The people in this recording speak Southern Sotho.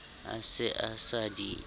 a se a sa di